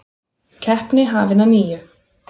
Keppni hafin að nýju